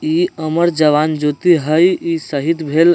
ई अमर जवान ज्योति हई। ई शहीद भेल --